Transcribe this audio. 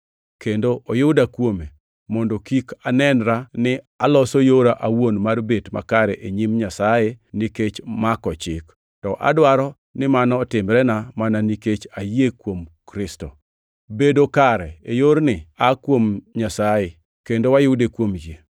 kendo oyuda kuome, mondo kik anenra ni aloso yora awuon mar bet makare e nyim Nyasaye nikech mako Chik, to adwaro ni mano otimrena mana nikech ayie kuom Kristo. Bedo kare e yorni aa kuom Nyasaye kendo wayude kuom yie.